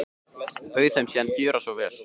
Bauð þeim síðan að gjöra svo vel.